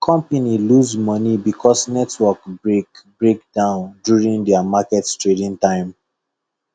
company lose money because network break break down during their market trading time